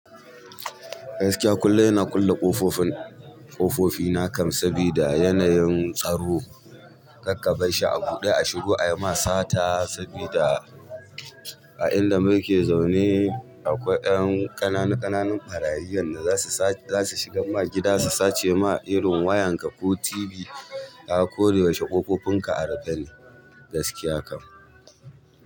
Gaskiya kullum ina kulle kofofin ƙofofi na kam, sabida yanayin tsaro. Kakka ba shi a buɗe a shigo ayi ma sata sabida a inda muke zaune, akwai ƴan ƙanana-ƙananan ɓarayi wanda zasu shiga ma gida su sace ma wayanka ne ko tv. Koga ko da yaushe kofofin ka a rufe suke. Gaskiya kam.